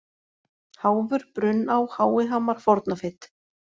Háfur, Brunná, Háihamar, Fornafit